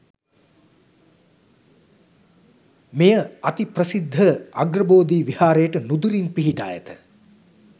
මෙය අති ප්‍රසිද්ධ අග්‍රබෝධි විහාරයට නුදුරින් පිහිටා ඇත.